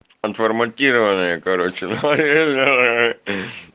оотформатирование короче